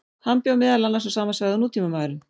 Hann bjó meðal annars á sama svæði og nútímamaðurinn.